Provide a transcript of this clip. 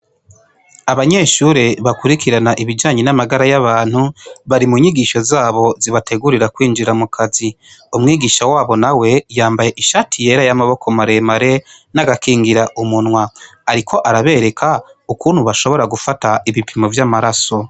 Abanyeshure bakurikirana ibijanye nivy'amagara y'abantu bari munyigisho zabo zibategurira kwinjira mukazi. Umwigisha wabo nawe yambaye ishati yera y'amaboko maremare n'agakingiramunwa ariko arabereka ukuntu bashobora gufata ibipimo vy'amaraso.